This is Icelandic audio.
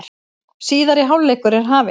Síðari hálfleikur er hafinn